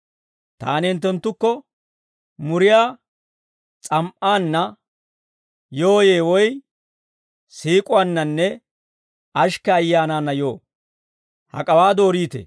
Taani hinttenttukko muriyaa s'am"aanna yooyye woy siik'uwaannanne ashikke ayyaanaanna yoo? Hak'awaa dooriitee?